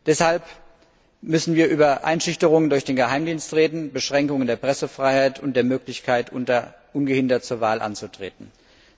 Deshalb müssen wir über Einschüchterungen durch den Geheimdienst, Beschränkungen der Pressefreiheit und der Möglichkeit, ungehindert zur Wahl anzutreten, reden.